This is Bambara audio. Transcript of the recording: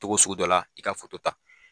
Cogo sugu dɔ la i ka foto ta